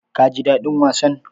Ka ji daɗin wasan?